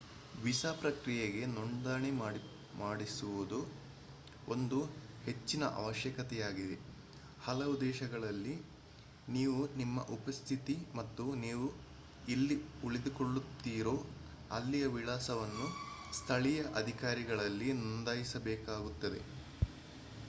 visa ಪ್ರಕ್ರಿಯೆಗೆ ನೋಂದಣಿ ಮಾಡಿಸುವುದು ಒಂದು ಹೆಚ್ಚಿನ ಅವಶ್ಯಕತೆಯಾಗಿದೆ ಹಲವು ದೇಶಗಳಲ್ಲಿ ನೀವು ನಿಮ್ಮ ಉಪಸ್ಥಿತಿ ಮತ್ತು ನೀವು ಎಲ್ಲಿ ಉಳಿದುಕೊಳ್ಳುತ್ತೀರೋ ಅಲ್ಲಿಯವಿಳಾಸವನ್ನು ಸ್ಥಳೀಯ ಅಧಿಕಾರಿಗಳಲ್ಲಿ ನೋಂದಾಯಿಸಬೇಕಾಗುತ್ತದೆ